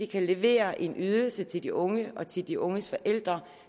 kan levere en ydelse til de unge og til de unges forældre